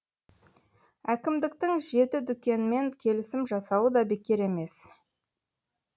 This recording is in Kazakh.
әкімдіктің жеті дүкенмен келісім жасауы да бекер емес